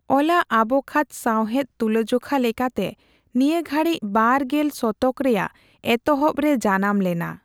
ᱚᱞᱟᱜ ᱟᱵᱽᱠᱷᱟᱡᱽ ᱥᱟᱣᱦᱮᱫ ᱛᱩᱞᱟᱹᱡᱚᱠᱷᱟ ᱞᱮᱠᱟᱛᱮ ᱱᱤᱭᱟᱹᱜᱷᱟᱹᱲᱤᱠ ᱵᱟᱨ ᱜᱮᱞ ᱥᱚᱛᱚᱠ ᱨᱮᱭᱟᱜ ᱮᱛᱚᱦᱚᱵ ᱨᱮ ᱡᱟᱱᱟᱢ ᱞᱮᱱᱟ ᱾